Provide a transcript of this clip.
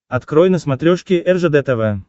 открой на смотрешке ржд тв